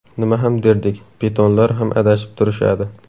Nima ham derdik, pitonlar ham adashib turishadi.